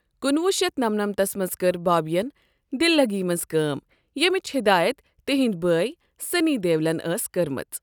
کُنوُہ شیٚتھ نمنَمتھس منٛز کٔر بابیَن دل لگی منٛز کٲم ییمچ ہدایت تہنٛدۍ بٲیۍ سنٛی دیولَن ٲسۍ کٔرمٕژ۔